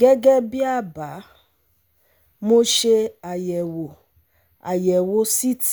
Gẹ́gẹ́ bí àbá, mo ṣe àyẹ̀wò àyẹ̀wò CT